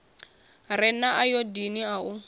re na ayodini a u